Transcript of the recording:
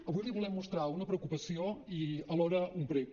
avui li volem mostrar una preocupació i alhora un prec